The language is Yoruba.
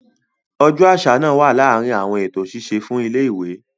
Ọjọ́ àṣà naa wa láàrin àwọn eto ṣiṣe fún ilẹ ìwé.